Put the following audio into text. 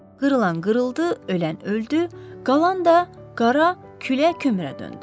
Qırılan qırıldı, ölən öldü, qalan da qara külə kömrə döndü.